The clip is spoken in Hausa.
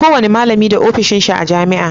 Ko wani malami da ofishin shi a jamia